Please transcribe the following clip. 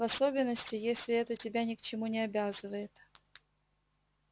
в особенности если это тебя ни к чему не обязывает